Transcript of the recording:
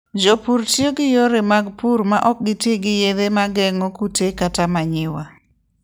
Jopur tiyo gi yore mag pur ma ok ti gi yedhe ma geng'o kute kata manyiwa.